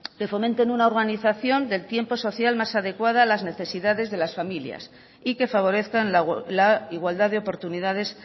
que fomenten una organización del tiempo social más adecuada a las necesidades de la familias y que favorezcan la igualdad de oportunidades